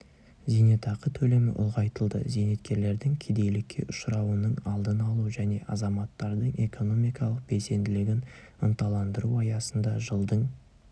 зейнетақы төлемі ұлғайтылды зейнеткерлердің кедейлікке ұшырауының алдын алу және азаматтардың экономикалық белсенділігін ынталандыру аясында жылдың